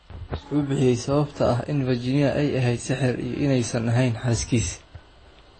"Wuxuu bixiyay sababta ah in Virginia ay ahayd sixir iyo inaysan ahayn xaaskiisii."